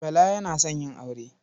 Bala yana son yin aure.